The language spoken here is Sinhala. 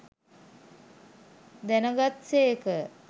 දැනගත් සේක.